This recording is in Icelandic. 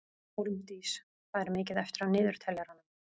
Hólmdís, hvað er mikið eftir af niðurteljaranum?